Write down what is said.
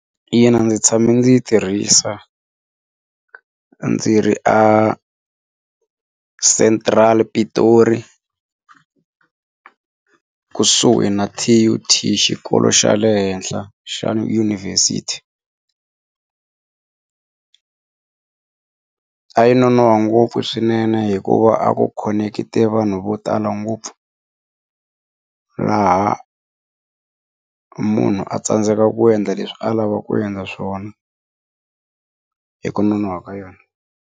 Ina, ndzi tshame ndzi yi tirhisa ndzi ri a Central Pretoria kusuhi na T_U_T xikolo xa le henhla xa Yunivhesiti a yi nonohwa ngopfu swinene hikuva a ku khonekitile vanhu vo tala ngopfu laha munhu a tsandzekaka ku endla leswi a lava ku endla swona hi ku nonohwa ka yona.